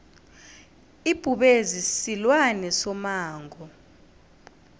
ibhubezi silwane somango